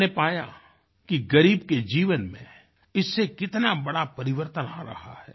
मैंने पाया कि ग़रीब के जीवन में इससे कितना बड़ा परिवर्तन आ रहा है